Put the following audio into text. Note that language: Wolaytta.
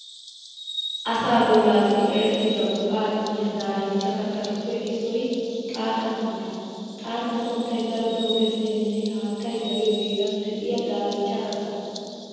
Asaa bollaassi erettida go"aa immiya daarinchcha kattatuppe issoy xaatta santtaa. Xaatta santtay daroto gezziyaaninne haattay dariyo heeran de'iya daarinchcha katta.